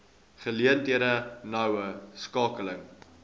geleenthede noue skakeling